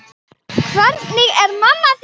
Hvernig er mamma þín?